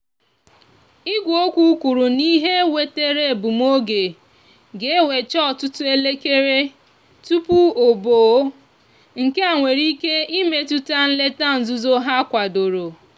igweokwu kwuru na ihe wetere egbumoge ga ewecha òtútú elekere tupu oboe nkea nwere ike imetúta nleta nzuzo ha kwadoro.